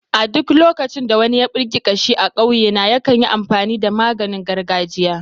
A duk lokacin da wani ya birki kashi a ƙauyena, yakan yi amfani da maganin gargajia.